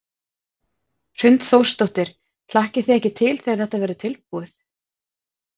Hrund Þórsdóttir: Hlakkið þið ekki til þegar þetta verður tilbúið?